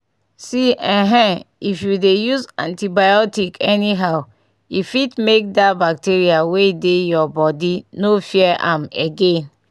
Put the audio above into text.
see ehen if u dey use antibiotic anyhow e fit make dah bacteria wey dey ur body no fear am again.